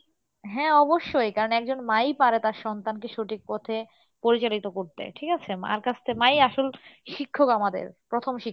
হ্যাঁ অবশ্যই কারন একজন মাই পারে তার সন্তান কে সঠিক পথে প্রয়োজনীত করতে ঠিক আছে? মার কাছ থেকে, মাই আসল শিক্ষক আমাদের প্রথম শিক্ষক।